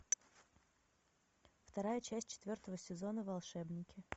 вторая часть четвертого сезона волшебники